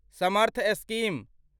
Samarth scheme